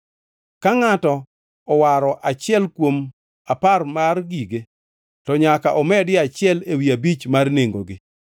Ka ngʼato owaro achiel kuom apar mar gige, to nyaka omedie achiel ewi abich mar nengogi.